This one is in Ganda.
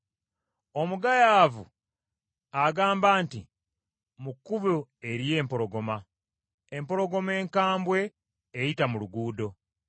Omugayaavu agamba nti, “Mu kkubo eriyo empologoma, empologoma enkambwe eyita mu luguudo!”